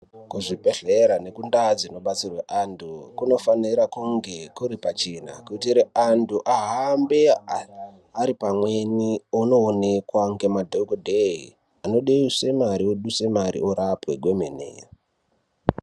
Kuzvibhehlera nekundaa dzinobatsirwa antu kunofanira kunge kuri pachena kuitire antu ahambe ari pamweni einoonekwa ngemadhokodheye anoduse mare oduse mare orapwe kwemene.